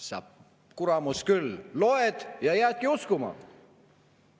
" Sa kuramus küll, loed ja jäädki uskuma!